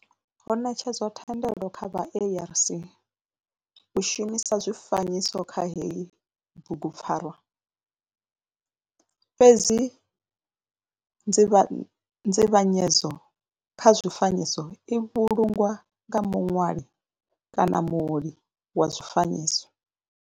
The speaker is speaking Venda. Ho netshedzwa thendelo kha vha ARC u shumisa zwifanyiso kha heyi bugupfarwa fhedzi nzivhanyedzo kha zwifanyiso i vhulungwa nga munwali kana muoli wa zwifanyiso.